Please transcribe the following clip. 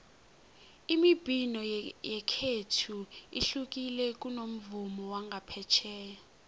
imibhino yekhethu ihlukile kunomvumo wangaphetjheya